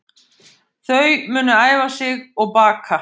Þau munu æfa sig og baka